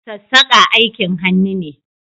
Sassaƙa aikin hannu ne